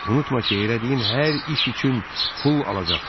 Unutma ki, elədiyin hər iş üçün pul alacaqsan.